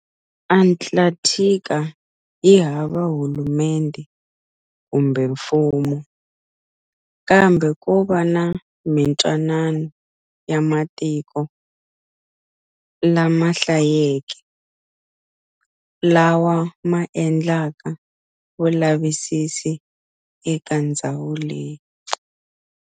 Antakthika yihava hulumendhe kumbe mfumo, kambe kova na mintwanano ya matiko lamahlayeke, lawa ma endlaka vulavisisi eka ndzhawu leyi.